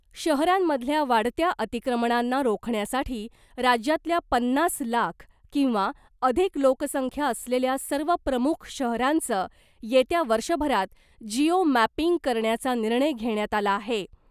शहरांमधल्या वाढत्या अतिक्रमणांना रोखण्यासाठी राज्यातल्या पन्नास लाख किंवा अधिक लोकसंख्या असलेल्या सर्व प्रमुख शहरांचं येत्या वर्षभरात जिओ मॅपिंग करण्याचा निर्णय घेण्यात आला आहे .